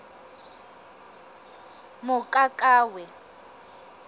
mokakawe